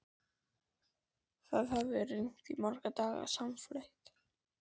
Það hafði rignt í marga daga samfleytt.